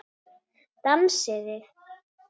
Dansið þið.